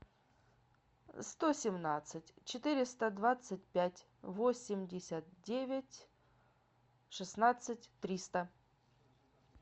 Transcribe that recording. сто семнадцать четыреста двадцать пять восемьдесят девять шестнадцать триста